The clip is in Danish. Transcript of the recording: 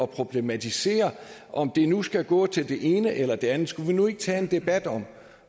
problematisere om det nu skal gå til det ene eller det andet skulle vi nu ikke tage en debat om